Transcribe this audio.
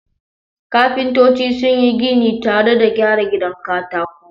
Kafintoci sun yi gini tare da gyara gidan katako.